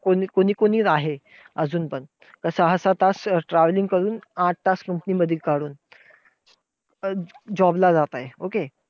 कोणी कोणी आहे अजून पण, का सहा सहा तास अं travelling करून, आठ तास company मध्ये काढून अं job ला जाताय. Okay.